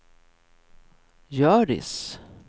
Hjördis